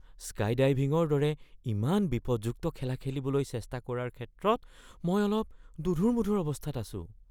স্কাইডাইভিঙৰ দৰে ইমান বিপদযুক্ত খেলা খেলিবলৈ চেষ্টা কৰাৰ ক্ষেত্ৰত মই অলপ দোধোৰ-মোধোৰ অৱস্থাত আছোঁ।